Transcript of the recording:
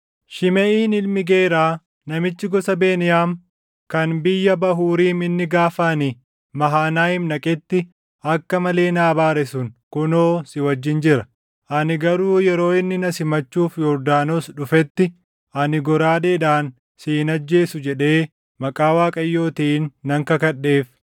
“Shimeʼiin ilmi Geeraa namichi gosa Beniyaam kan biyya Bahuuriim inni gaafa ani Mahanayiim dhaqetti akka malee na abaare sun kunoo si wajjin jira. Ani garuu yeroo inni na simachuuf Yordaanos dhufetti, ‘Ani goraadeedhaan si hin ajjeesu’ jedhee maqaa Waaqayyootiin nan kakadheef.